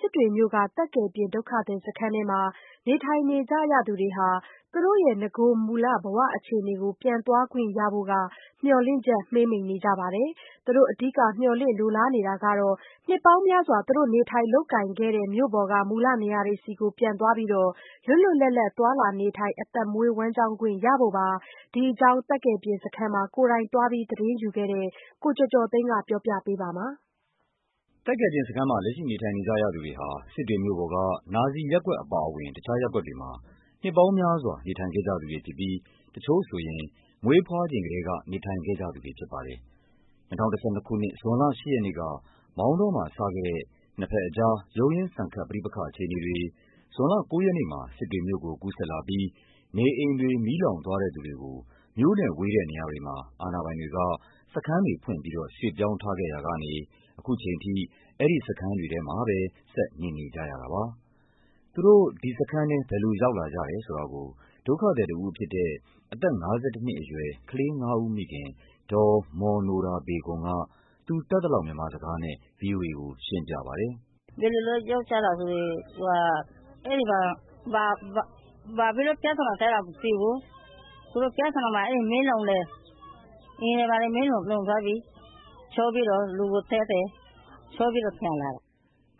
စစ်တွေမြို့က သက်ကယ်ပြင် ဒုက္ခသည်စခန်းထဲမှာ နေထိုင်နေကြရသူတွေဟာ သူတို့ရဲ့ နဂိုမူလ ဘဝ အခြေအနေကို ပြန်သွားခွင့်ရဖို့ မျှော်လင့်ချက် မှေးမှိန်နေကြပါတယ်။ သူတို့ အဓိက မျှော်လင့် လိုလားနေတာက နှစ်ပေါင်းများစွာ သူတို့ နေထိုင်လုပ်ကိုင်ခဲ့တဲ့ မြို့ပေါ်က မူလနေရာတွေဆီကို ပြန်သွားပြီး လွတ်လွတ်လပ်လပ် သွားလာနေထိုင် အသက်မွေး ဝမ်းကျောင်းခွင့် ရဖို့ပါ။ ဒီအကြောင်း သက်ကယ်ပြင်စခန်းမှာ ကိုယ်တိုင်သွားပြီး သတင်းယူခဲ့တဲ့ ကိုကျော်ကျော်သိန်းက တင်ပြပေးထးပါတယ်။ သက်ကယ်ပြင်စခန်းမှာ လက်ရှိ နေထိုင်နေကြရသူတွေဟာ စစ်တွေမြို့ပေါ်က နာဇီရပ်ကွက် အပါ အဝင် တခြား ရပ်ကွက်တွေမှာ နှစ်ပေါင်းများစွာ နေထိုင်ခဲ့ကြသူတွေဖြစ်ပြီး တချို့ဆိုရင် မွေးဖွား ချိန်ကတည်းက နေထိုင်ခဲ့ကြ သူတွေဖြစ်ပါတယ်။ ၂၀၁၂ ခုနှစ် ဇွန်လ ၈ ရက်နေ့က မောင်းတောမှာ စခဲ့တဲ့ နှစ်ဘက်အကြား ရုန်းရင်းဆန်ခတ် ပဋိပက္ခအခြေအနေတွေ ဇွန်လ ၉ ရက်နေ့မှာ စစ်တွေမြို့ ကို ကူးစက်လာပြီး နေအိမ်တွေ မီးလောင်သွားတဲ့ သူတွေကို မြို့နဲ့ဝေးတဲ့နေရာတွေမှာ အာဏာပိုင်တွေက စခန်းတွေ ဖွင့်ပြီးတော့ ရွှေ့ပြောင်းထားခဲ့ရာကနေ အခုချိန်ထိ အဲဒီစခန်းတွေထဲ မှာပဲ ဆက်နေနေကြရတာပါ။ သူတို့ ဒီစခန်းထဲ ဘယ်လိုရောက်လာကြတယ်ဆိုတာကို ဒုက္ခသည်တဦးဖြစ်တဲ့ အသက် ၅၁ နှစ် အရွယ် ကလေးငါးဦးမိခင် ဒေါ်မော်နိုရာဘေဂွန်က သူတတ်သလောက် မြန်မာစကားနဲ့ ဗွီအိုအေကို ရှင်းပြပါတယ်။ “ဘယ်လိုလုပ် ရောက်ကြတာဆိုရင် အဲဒီမှာ ဘာဖြစ်လို့ ပြဿနာတက်တာ မသိဘူး။ သူတို့ပြဿနာ မှာ မီးလောင်တယ်။ အိမ်တွေဘာတွေ မီးလောင်သွားပြီ။ ရှို့ပြီးတော့ လူကိုသတ်တယ်။ ရှို့ပြီးတော့ ….” အိ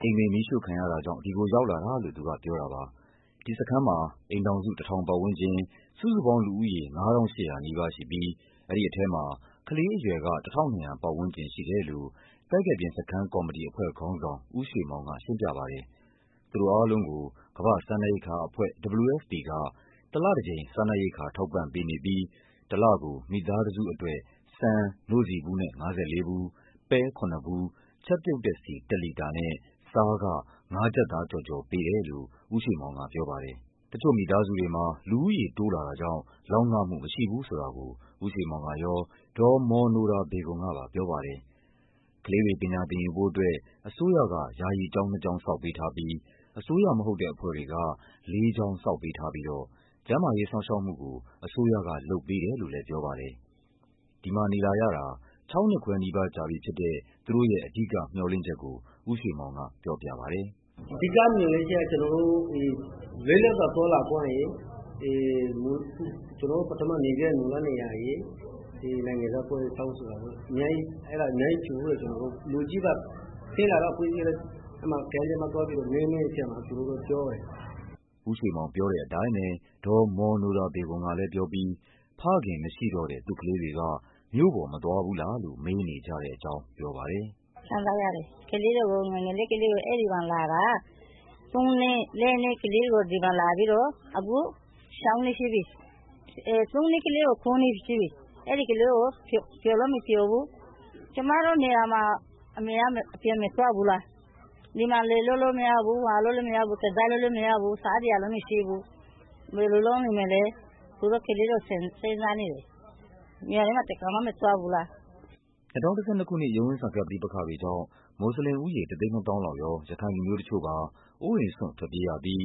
မ်တွေမီးရှို့ခံရတာကြောင့် ဒီကိုရောက်လာတာလို့ သူကပြောတာပါ။ ဒီစခန်းမှာ အိမ်ထောင်စု ၁,၀၀၀ ပတ်ဝန်းကျင်၊ စုစုပေါင်း လူဦးရေ ၅,၈၀၀ နီးပါးရှိပြီး အဲဒီထဲမှာ ကလေး အရွယ်က ၁,၂၀၀ ပတ်ဝန်းကျင်ရှိတယ်လို့ သက်ကယ်ပြင်စခန်းကော်မတီ အဖွဲ့ ခေါင်းဆောင် ဦးရွှေမောင်က ရှင်းပြပါတယ်။ သူတို့အားလုံးကို ကမ္ဘာ့ စားနပ်ရိက္ခာအဖွဲ့ WFP က တလတကြိမ် စားနပ်ရိက္ခာ ထောက်ပံ့ပေး နေပြီး တလကို မိသားတစုအတွက် ဆန် နို့ဆီဘူးနဲ့ ၅၄ ဘူူး၊ ပဲ ၇ ဘူး၊ ချက်ပြုတ်တဲ့ဆီ ၁ လီတာနဲ့ ဆားက ၅ ကျပ်သားကျော်ကျော်ပေးတယ်လို့ ဦးရွှေမောင် ကပြောပါတယ်။ တချို့မိသားစုတွေမှာ လူဦးရေတိုးလာတာ ကြောင့် လောက်ငမှုမရှိဘူးဆိုတာကို ဦးရွှေမောင်ကရော ဒေါ်မော်နိုရာဘေဂွန်ကပါ ပြောပါတယ်။ ကလေးတွေ ပညာသင်ယူဖို့ အစိုးရက ယာယီကျောင်းနှစ်ကျောင်း ဆောက်ပေးထားပြီး အစိုးရ မဟုတ်တဲ့ အဖွဲ့တွေက ၄ ကျောင်း ဆောက်ပေးထားပြီးတော့ ကျန်းမာရေးစောင့်ရှောက်မှုကို အစိုးရကလုပ်ပေးတယ် လို့လည်း ပြောပါတယ်။ ဒီမှာနေလာရတာ ၆ နှစ်ခွဲနီးပါး ကြာပြီဖြစ်တဲ့ သူတို့ရဲ့ အဓိကမျှော်လင့်ချက်ကို ဦးရွှေမောင်က ပြောပြပါတယ်။ “အဓိကမျှော်လင့်ချက်က ကျနော်တို့ လွတ်လပ်စွာသွားလာခွင့်ရယ်၊ ကျနော်တို့ ပထမနေခဲ့တဲ့ မူလနေရာရယ်၊ နိုင်ငံသား..တောင်းဆိုတာရယ်..အများကြီး ကျနော်တို့..ပြီးတော့ ကျနော်တို့…လူကြီးပါ ဆင်းလာတော့ အဖွဲ့အစည်းကလည်း အဲဒါ ကမ့်ထဲမှာသွားပြီး မေးတဲ့အချိန်မှာ သူတို့က ပြောတယ်။” ဦးရွှေမောင်ပြောတဲ့အတိုင်းပဲ ဒေါ်မော်နိုရာဘေဂွန်ကလည်းပြောပြီး ဖခင်မရှိတော့တဲ့ သူ့ကလေးတွေ က မြို့ပေါ်မသွားဘူးလားလို့ မေးနေကြတဲ့အကြောင်း ပြောပါတယ်။ “ခံစားရတယ်။ ကလေးတွေကို ငယ်ငယ်ကလေးတွေကို အဲဒီမှာလာတာ- သုံးနှစ် လေးနှစ် ကလေးတွေကို ဒီမှာလာပြီးတော့ အခု ၆ နှစ်ရှိပြီ။ သုံးနှစ်ကလေးက အခု ၉ နှစ်ရှိပြီ။ အဲဒီကလေးက ပျော်လည်းမပျော်ဘူး။ ကျမတို့နေရာမှာ အမေက အပြင်မသွားဘူးလား။ ဒီမှာ လယ်လုပ်လို့မရဘူး၊ ဘာလုပ်လို့မရဘူး၊ ကစားလို့လည်းမရဘူး၊ စားစရာလည်း မရှိဘူး။ ဘယ်လိုလုပ်နေမလဲ။ သူတို့ ကလေးတွေကို စဉ်းစားနေတယ်။ မြို့ထဲမှာ တခါမှ မသွားဘူးလား၊” ၂၀၁၂ ခုနှစ် ရုန်းရင်းဆန်ခတ်ပဋိပက္ခတွေကြောင့် မွတ်ဆလင်ဦးရေ ၁၂၀,၀၀၀ လောက်ရော ရခိုင်လူမျိုး တချို့ပါ အိုးအိမ်စွန့် ထွက်ပြေးရပြီး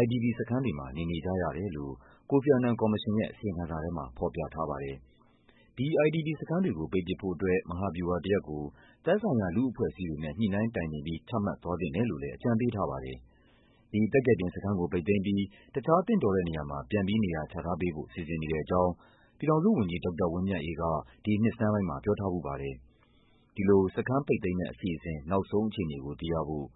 IDP စခန်းတွေမှာ နေနေကြရတယ်လို့ ကိုဖီ အာနန် ကော်မရှင်ရဲ့ အစီရင် ခံစာထဲမှာ ဖော်ပြထားပါတယ်။ ဒီ IDP စခန်းတွေကိုပိတ်ပစ်ဖို့အတွက် မဟာဗျူဟာတရပ်ကို သက်ဆိုင်ရာ လူ့အဖွဲ့အစည်းတွေနဲ့ ညှိနှိုင်းတိုင်ပင်ပြီး ချမှတ်သွားသင့်တယ် လို့လည်း အကြံပေးထားပါတယ်။ ဒီသက်ကယ်ပြင်စခန်းကို ပိတ်သိမ်းပြီး တခြားသင့်တော်တဲ့နေရာမှာ ပြန်ပြီးနေရာချထားပေးဖို့ စီစဉ် နေကြောင်း ပြည်ထောင်စုဝန်ကြီး ဒေါက်တာဝင်းမြတ်အေးက ဒီနှစ်ဆန်းပိုင်းမှာ ပြောထားဖူး ပါတယ်။ ဒီလို စခန်းပိတ် သိမ်း မယ့် အစီအစဉ် နောက်ဆုံးအခြေအနေကိုသိရဖို့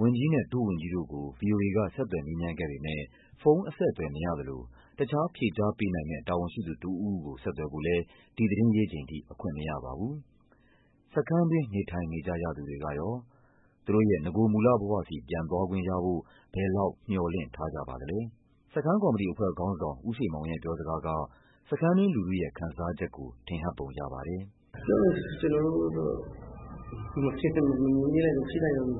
ဝန်ကြီးနဲ့ ဒုဝန်ကြီး တို့ ကို ဗွီအိုအေက ဆက်သွယ်မေးမြန်းခဲ့ ပေမယ့် ဖုန်းအဆက်အသွယ်မရသလို တခြားဖြေကြား ပေးနိုင်မယ့် တာဝန်ရှိသူတဦးဦးကို ဆက်သွယ်ဖို့လည်း ဒီသတင်းရေးချိန်ထိ အခွင့်မရပါဘူး။ စခန်းတွင်း နေထိုင်နေကြရသူတွေကရော… သူတို့ရဲ့ နဂိုမူလဘဝဆီ ပြန်သွားခွင့်ရဖို့ ဘယ်လောက် မျှော်လင့် ထားကြပါသလဲ… စခန်းကော်မတီအဖွဲ့ခေါင်းဆောင် ဦးရွှေမောင်ရဲ့ပြောစကားက စခန်းတွင်း လူထုရဲ့ ခံစား ချက်ကို ထင်ဟပ်ပုံရပါတယ်။ “ပြောမယ်ဆို ကျနော်တို့ မဖြစ်နိုင်တော့ဘူး..”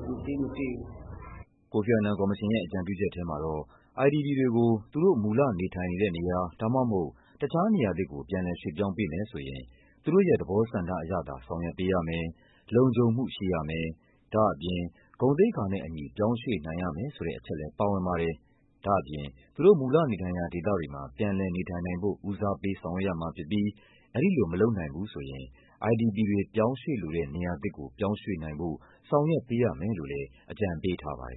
ကိုဖီ အာနန်ကော်မရှင်ရဲ့ အကြံပြုချက်ထဲမှာတော့ IDP တွေကို သူတို့ မူလနေထိုင်နေတဲ့နေရာ ဒါမှမဟုတ် တခြားနေရာသစ်ကို ပြန်လည်ရွှေ့ပြောင်းပေးမယ်ဆိုရင် သူတို့ရဲ့သဘောဆန္ဒအရသာ ဆောင်ရွက်ပေးရမယ်၊ လုံခြုံမှုရှိရမယ်၊ ဒါ့အပြင် ဂုဏ်သိက္ခနဲ့ အညီပြောင်းရွှေ့နိုင်ရမယ်ဆိုတဲ့ အချက်လည်း ပါဝင်ပါတယ်။ ဒါ့အပြင် သူတို့ မူလနေထိုင်ရာ ဒေသတွေမှာ ပြန်လည်နေထိုင်နိုင်ဖို့ ဦးစားပေးဆောင်ရွက်ရမှာဖြစ်ပြီး အဲဒီလို မလုပ်နိုင်ဘူး ဆိုရင် IDP တွေ ပြောင်းရွှေ့လိုတဲ့ နေရာသစ်ကို ပြောင်းရွှေ့နိုင်ဖို့ ဆောင်ရွက်ပေးရမယ်လို့လည်း အကြံပေးထားပါတယ်